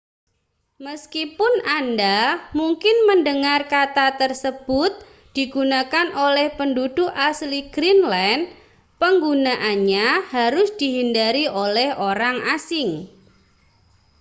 meskipun anda mungkin mendengar kata tersebut digunakan oleh penduduk asli greenland penggunaannya harus dihindari oleh orang asing